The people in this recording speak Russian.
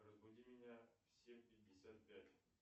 разбуди меня в семь пятьдесят пять